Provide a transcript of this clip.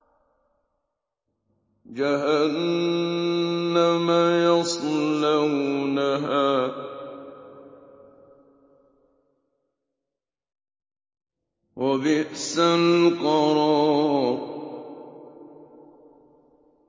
جَهَنَّمَ يَصْلَوْنَهَا ۖ وَبِئْسَ الْقَرَارُ